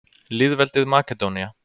Lýðveldið Makedónía